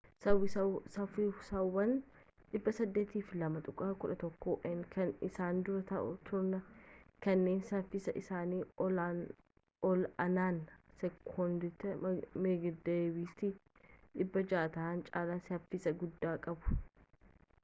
saffisawwan 802.11n kan isaan dura turan kanneen saffisi isaanii ol-aanaan sekoondiitti meeggaabiitii 600 ta'e caalaa saffisa guddaa qabu